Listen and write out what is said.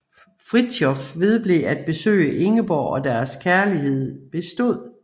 Fridtjof vedblev at besøge Ingeborg og deres kærlighed bestod